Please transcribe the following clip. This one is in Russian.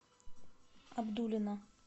абдулино